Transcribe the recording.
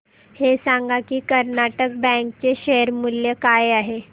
हे सांगा की कर्नाटक बँक चे शेअर मूल्य काय आहे